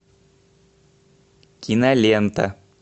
кинолента